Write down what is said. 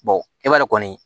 e b'a dɔn kɔni